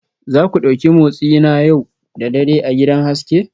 Za ku ɗauki motsi na yau da dare a gidan haske